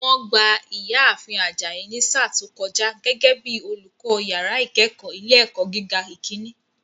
Wọ́n gba ìyá ààfin Ajayi ní sáà tó kọjá gẹ́gẹ́ bíi olùkọ́ yàrá ìkẹ́kọ̀ọ́ ilé ẹ̀kọ́ gíga ìkíní